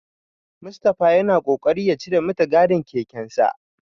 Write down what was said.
Mustapha yana kokarin ya cire mitigarin kekensa.